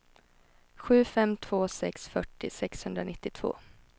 sju fem två sex fyrtio sexhundranittiotvå